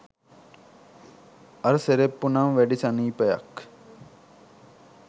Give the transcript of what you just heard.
අර සෙරෙප්පු නම් වැඩි සනීපයක්